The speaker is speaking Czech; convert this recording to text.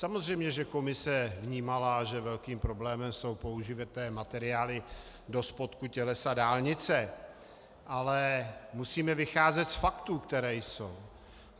Samozřejmě že komise vnímala, že velkým problémem jsou použité materiály do spodku tělesa dálnice, ale musíme vycházet z faktů, které jsou.